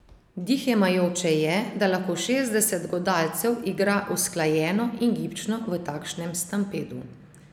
Dih jemajoče je, da lahko šestdeset godalcev igra usklajeno in gibčno v takšnem stampedu.